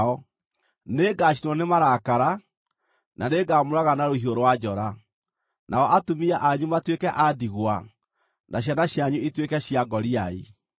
Nĩngacinwo nĩ marakara, na nĩngamũũraga na rũhiũ rwa njora, nao atumia anyu matuĩke a ndigwa na ciana cianyu ituĩke cia ngoriai.